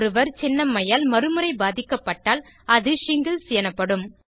ஒருவர் சின்னம்மையால் மறுமுறை பாதிக்கப்பட்டால் அது ஷிங்கிள்ஸ் எனப்படும்